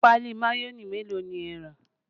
Páálí mayonẹ mélòó ni ẹ rà?